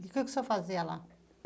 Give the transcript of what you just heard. O que que o senhor fazia lá?